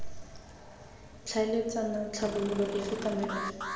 tlhaeletsana tlhabololo efe kana efe